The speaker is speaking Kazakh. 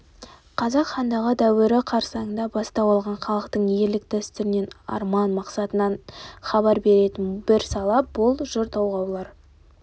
қазақ хандығы дәуірі қарсаңында бастау алған халықтың ерлік дәстүрінен арман мақсатынан хабар беретін бір сала бұл жыр толғаулар